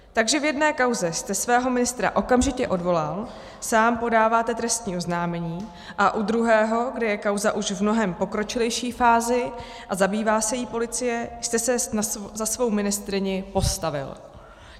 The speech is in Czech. Takže v jedné kauze jste svého ministra okamžitě odvolal, sám podáváte trestní oznámení, a u druhého, kde je kauza už v mnohem pokročilejší fázi, a zabývá se jí policie, jste se za svou ministryni postavil.